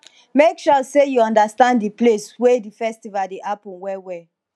make sure say you understand the place wey the festival de happen well well